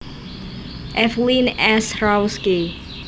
Evelyn S Rawski